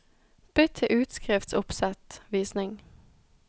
Bytt til utskriftsoppsettvisning